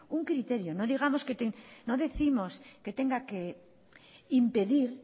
un criterio no décimos que tenga que impedir